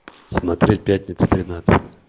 смотреть пятница тринадцатое